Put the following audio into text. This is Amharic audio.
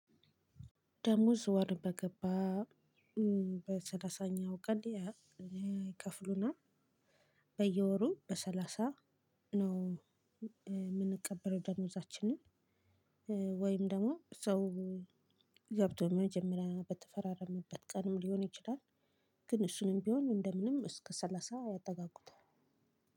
ደሞዝ ወር በገባ በሰላሳኛው ቀን ይከፍሉና በየወሩ በሰላሳ ነው የምንቀበለው ደሞዛችንን። ወይም ደግሞ ሰው ገብቶ መጀመሪያ በተፈራረመበት ቀንም ሊሆን ይችላል። ግን እሱንም ቢሆን እንደ ምንም እስከ ሰላሳ ያጠጋጉታል።